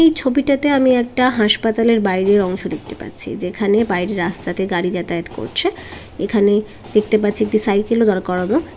এই ছবিটাতে আমি একটা হাসপাতালের বাইরের অংশ দেখতে পাচ্ছি যেখানে বাইরে রাস্তাতে গাড়ি যাতায়াত করছে এখানে দেখতে পাচ্ছি একটি সাইকেল ও দার করানো ।